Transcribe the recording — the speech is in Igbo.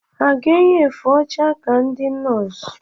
Ha ga-eyi efe ọcha ka ndị nọọs?